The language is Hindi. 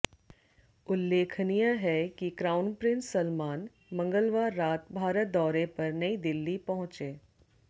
उल्लेखनीय है कि क्राउन प्रिंस सलमान मंगलवार रात भारत दौरे पर नई दिल्ली पहुंचे